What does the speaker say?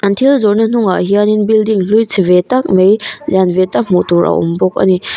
thil zawrhna hnungah hian building hlui chhe ve tak mai lian ve tak hmuh tur a awm bawk a ni--